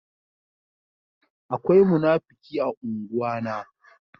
Akwai munafuki a ungwa na.